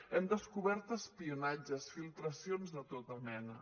hem descobert espionatges filtracions de tota mena